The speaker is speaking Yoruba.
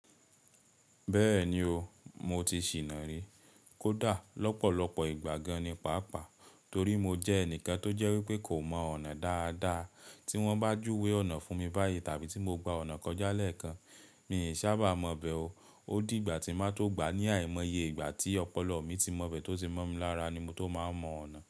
Bẹ́ẹ̀ni o, mo ti ṣìná rí. Kódà lọ́pọ̀lọpọ̀ ìgbà gan-an ní pàápàá, torí mo jẹ́ ẹnìkan tó jẹ́ wípé kò mọ ọ̀nà dáadáa. Tí wọ́n bá júwe ọ̀nà fún mi báyìí tàbí tí mo gba ọ̀nà kọjá lẹ́ẹ̀kan, mi i sábà mọ bẹ̀ o. Ó di ìgbà tí máa tó gbà á ní àìmọye ìgbà tí ọpọlọ mi tí mọ̀ bẹ́ẹ̀ tó ti mọ́ mi lára ni mo tó máa mọ ọ̀nà.